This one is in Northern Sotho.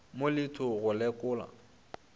mo le tho go lekola